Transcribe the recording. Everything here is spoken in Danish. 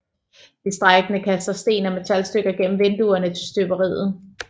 De strejkende kaster sten og metalstykker gennem vinduerne til støberiet